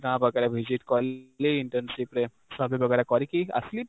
ଗାଁ visit କଲି, internship ରେ survey କରିକି ଆସିଲି